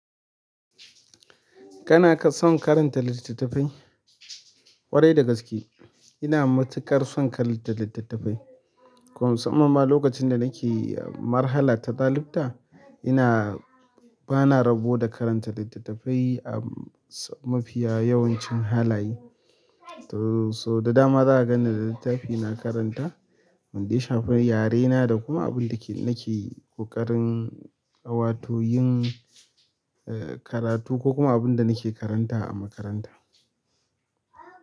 Kana son karanta littattafai? Ƙwarai dai gaskiya, ina matuƙar son karanta littattafai. Kuma mussaman ma sanda nake malhara ta malabta bana rabo da karanta littattafai a mafiya yawancin halaye to so da dama za a ganni da littafi na karanta, wanda ya shafi, yarena da kuma abin da nake ƙoƙarin wato yin, eh, karatu ko kuma abin da nake karanta a makaranta.